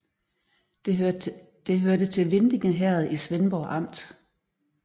Det hørte til Vindinge Herred i Svendborg Amt